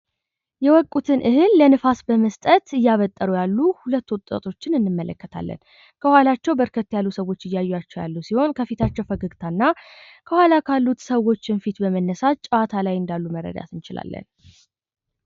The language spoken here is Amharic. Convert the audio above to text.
የወቁትን እህል ለንፋስ በመስጠት እያበጠሩ ያሉት ሁለት ወጣቶችን እንመለከታለን። ከኃላቸው በርከት ያሉ ሰዎች እያያቸው ያሉ ሲሆን ከፊታቸው ፈገግታና ከኃላ ካሉት ሰዎችን ፊት በመነሳት ጨዋታ ላይ እንዳሉ መረዳት እንችላለን።